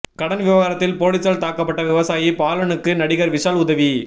கடன் விவகாரத்தில் போலீசால் தாக்கப்பட்ட விவசாயி பாலனுக்கு நடிகர் விஷால் உதவி